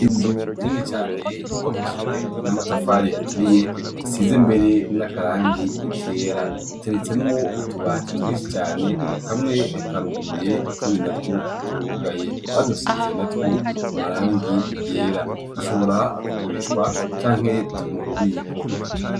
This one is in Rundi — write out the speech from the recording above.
Inzu nini cane yubakishije n'amatafari aturiye, isize mbere n'akarangi kera, iteretsemwo utubati twinshi cane, kamwe karuguruye, utundi natwo turugaye, badusize natwo amarangi yera dushobora kugurishwa canke turi mu bubiko.